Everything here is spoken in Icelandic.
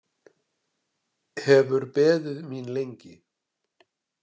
Hefur beðið mín lengi.